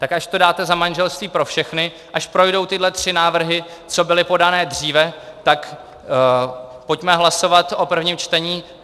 Tak až to dáte za manželství pro všechny, až projdou tyhle tři návrhy, co byly podány dříve, tak pojďme hlasovat o prvním čtení.